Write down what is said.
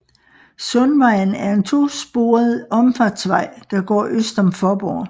Sundvejen er en to sporet omfartsvej der går øst om Faaborg